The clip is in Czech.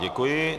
Děkuji.